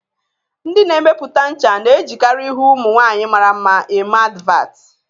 Ndi na-emepụta ncha na-ejikarị ihu ụmụ nwaanyị mara mma eme advatị